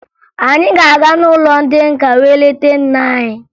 Anyị ga-aga n'ụlọ ndị nka wee leta nna anyị